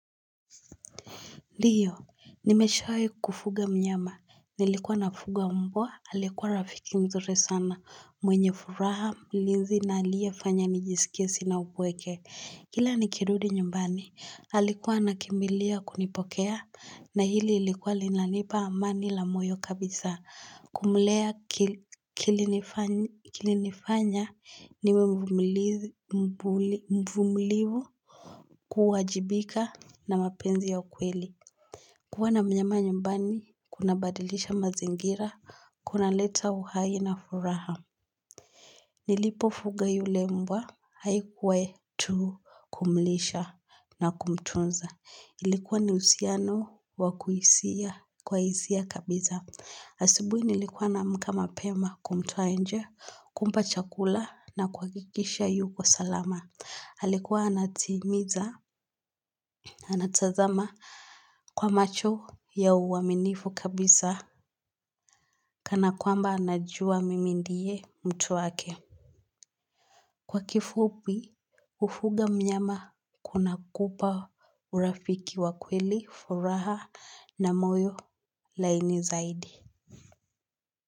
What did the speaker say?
Ndiyo, nimeshawahi kufuga mnyama, nilikuwa nafuga mbwa, aliyekuwa rafiki mzuri sana, mwenye furaha mlinzi na aliyefanya nijisikie sina upweke. Kila nikirudi nyumbani, alikuwa anakimbilia kunipokea, na hili ilikuwa linanipa amani la moyo kabisa, kumlea kilinifanya niwemvumilivu kuwajibika na mapenzi ya ukweli. Kuwa na mnyama nyumbani, kuna badilisha mazingira, kunaleta uhai na furaha. Nilipofuga yule mbwa, haikuwa tu kumlisha na kumtunza. Ilikuwa ni uhusiano wakuhisia kwa hisia kabisa. Asubuhi nilikuwa naamka mapema kumtoa nje kumpa chakula na kuhakikisha yuko salama. Alikuwa anatimiza, anatazama kwa macho ya uaminifu kabisa kana kwamba anajua mimi ndiye mtu wake. Kwa kifupi, kufuga mnyama kuna kupa urafiki wa kweli, furaha na moyo laini zaidi.